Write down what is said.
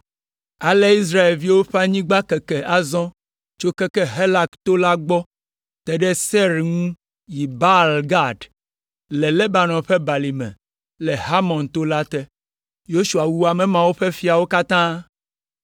Ale Israelviwo ƒe anyigba keke azɔ tso keke Halak to la gbɔ te ɖe Seir ŋu yi Baal Gad le Lebanon ƒe balime le Hermon to la te. Yosua wu teƒe mawo ƒe fiawo katã.